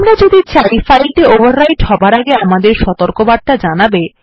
আমরা যদি চাই ফাইলটি ওভাররাইট হবার আগে আমাদের সতর্কবার্তা জানাবে